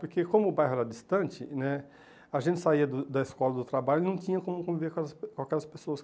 Porque como o bairro era distante né, a gente saía do da escola, do trabalho e não tinha como conviver com as com aquelas pessoas.